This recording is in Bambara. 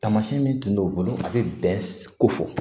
Taamasiyɛn min tun b'o bolo a bɛ bɛn ko fɔ